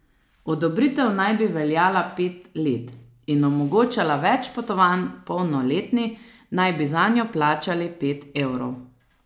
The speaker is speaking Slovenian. Odobritev naj bi veljala pet let in omogočala več potovanj, polnoletni naj bi zanjo plačali pet evrov.